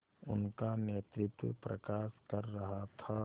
उनका नेतृत्व प्रकाश कर रहा था